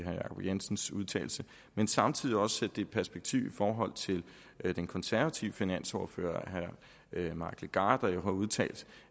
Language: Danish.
jacob jensens udtalelse men samtidig også sætte i perspektiv i forhold til den konservative finansordfører herre mike legarth der jo har udtalt